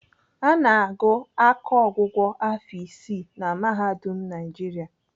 Ana agụ akọọgwụgwọ afọ isii na Mahadum Naijiria.